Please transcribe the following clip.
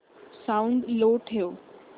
sound low ठेव